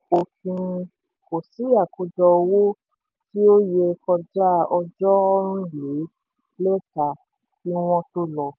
pẹ̀lú òfin kò sí àkójọ owó tí ó yẹ kọjá ọjọ́ nrin le leta kí wọn tó lò.